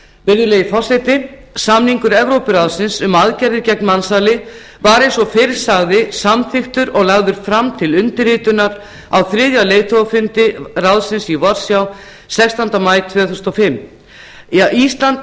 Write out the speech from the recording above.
virðulegi forseti samningur evrópuráðsins um aðgerðir gegn mansali var eins og fyrr sagði samþykktur og lagður fram til undirritunar á þriðja leiðtogafundi ráðsins í varsjá sextánda maí tvö þúsund og fimm ísland var